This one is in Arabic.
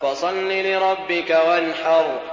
فَصَلِّ لِرَبِّكَ وَانْحَرْ